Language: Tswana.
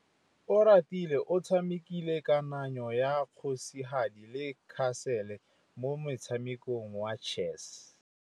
Oratile o tshamekile kananyô ya kgosigadi le khasêlê mo motshamekong wa chess.